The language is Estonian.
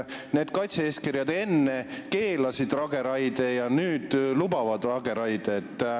Need kaitse-eeskirjad enne keelasid lageraie ja nüüd lubavad seda.